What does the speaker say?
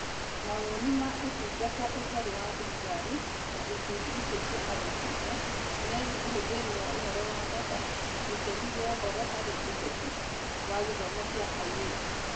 Mawoni ma Ũtungata Ũtarĩ wa Thirikari (NGOs) na Ikundi icio cia andũ kĩũmbe (CSOs) megiĩ ũhũthĩri wa ũhoro data na itemi rĩa ũhoro harĩ ũteti wa gĩthomo kĩa airĩtu.